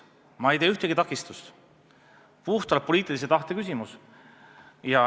Ma ei tea ühtegi takistust, see on puhtalt poliitilise tahte küsimus.